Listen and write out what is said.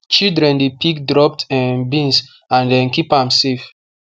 children dey pick dropped um beans and um keep am safe